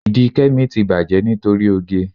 Ìdí Kẹ́mi ti bàjẹ́ nítorí oge.